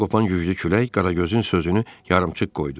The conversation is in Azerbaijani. Qəfildən qopan güclü külək Qaragözün sözünü yarımçıq qoydu.